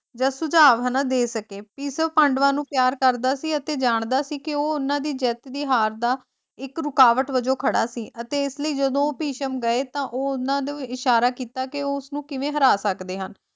ਜਾਂ ਸੁਝਾਵ ਹਨਾਂ ਦੇ ਸਕੇ ਭਿਸ਼ਮ ਪਾਂਡੂਆਂ ਨੂੰ ਪਿਆਰ ਕਰਦਾ ਸੀ ਅਤੇ ਜਾਣਦਾ ਸੀ ਕਿ ਉਹ ਉਹਨਾਂ ਜਿੱਤ ਤੇ ਹਾਰ ਦਾ ਇੱਕ ਰੁਕਾਵਟ ਵਜੋਂ ਖੜਾ ਸੀ ਤੇ ਇਸ ਲਈ ਜਦੋਂ ਉਹ ਭਿਸ਼ਮ ਗਏ ਤਾਂ ਉਹ ਉਹਨਾਂ ਨੂੰ ਇਸ਼ਾਰਾ ਕੀਤਾ ਕੇ ਉਹ ਉਸਨੂੰ ਕਿਵੇਂ ਹਰਾ ਸਕਦੇ ਹਨ।